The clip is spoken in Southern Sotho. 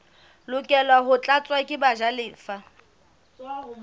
lokela ho tlatswa ke bajalefa